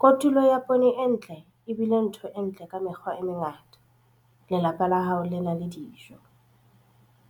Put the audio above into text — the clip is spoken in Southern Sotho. Kotulo ya poone e ntle e bile ntho e ntle ka mekgwa e mengata - lelapa la hao le na le dijo.